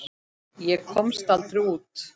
Ég komst aldrei út.